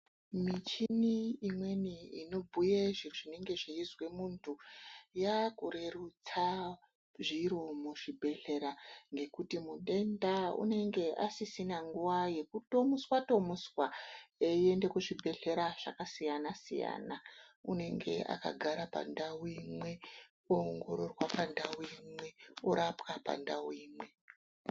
Michini imweni inobhuye izvo zvinonga zveizwe munthu yaakurerutsa zviro muzvibhedhlera ngekuthi muthenda unonga asisina nguwa yekuthomuswathomuswa eiyende kuzvibhedhlera zvakasiyanasiyana unenge kakangara pandau imwe oongororwa pandau imwe orapwa pandau imwe.